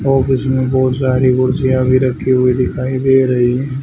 office मे बहोत सारी कुर्सिया भी रखी हुई दिखाई दे रही--